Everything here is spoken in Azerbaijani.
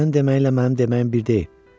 Sənin deməyinlə mənim deməyim bir deyil.